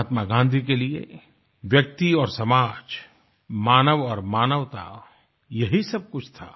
महात्मा गाँधी के लिए व्यक्ति और समाज मानव और मानवता यही सब कुछ था